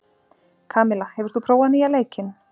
Kamilla, hefur þú prófað nýja leikinn?